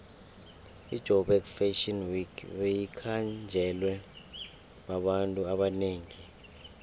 ijoburg fashion week beyikhanjelwe babantu abanengi